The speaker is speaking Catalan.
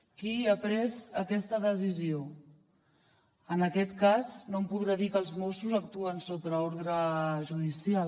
qui ha pres aquesta decisió en aquest cas no em podrà dir que els mossos actuen sota ordre judicial